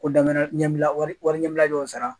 Ko damana ɲɛbila wari ɲɛbila dɔw sara